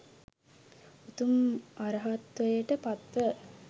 උතුම් අරහත්වයට පත්ව